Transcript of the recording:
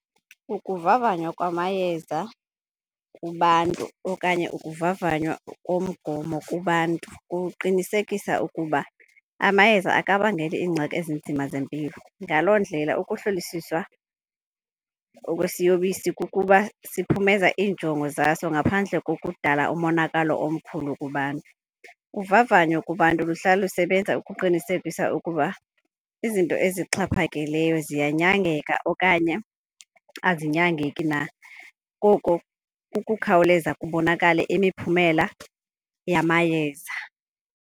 Ukuvavanywa kwamayeza kubantu okanye ukuvavanywa komgomo kubantu kuqinisekisa ukuba amayeza akabangeli iingxaki ezinzima zempilo. Ngaloo ndlela ukuhlolisiswa okwesiyobisi kukuba siphumeza iinjongo zaso ngaphandle kokudala umonakalo omkhulu kubantu. Uvavanyo kubantu luhlala lusebenza ukuqinisekisa ukuba izinto esixhaphakileyo ziyanyangeka okanye azinyangeki na, koko kukukhawuleza kubonakale imiphumela yamayeza.